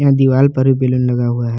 यहां दीवार पर भी बैलून लगा हुआ है।